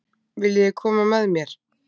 Viljiði koma með mér?